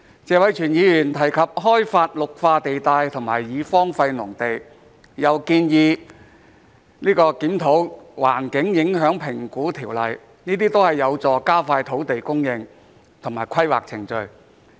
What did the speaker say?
謝偉銓議員提及開發綠化地帶和已荒廢農地，又建議檢討《環境影響評估條例》，這些都是有助加快土地供應和規劃程序。